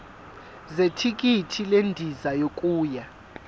zethikithi lendiza yokuya